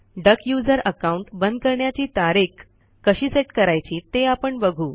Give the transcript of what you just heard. duck user account बंद करण्याची तारीख कशी सेट करायची ते आपण बघू